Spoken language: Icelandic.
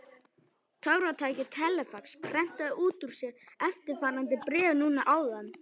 Töfratækið telefax prentaði út úr sér eftirfarandi bréf núna áðan.